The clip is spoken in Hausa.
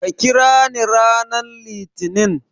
Ka kirani ranar Litinin.